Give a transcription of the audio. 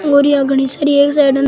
बोरियां घनी सारी एक साइड न --